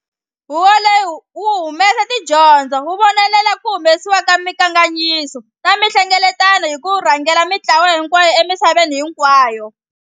Huvo leyi wu humesa tidyondzo, wu vonelela ku humesiwa ka minkandziyiso ni tinhlengeletano, ni ku rhangela mintlawa hinkwayo emisaveni hinkwayo.